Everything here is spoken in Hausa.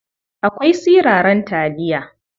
Akwai siraran taliya.